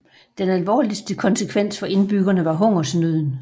Den alvorligste konsekvens for indbyggerne var hungersnøden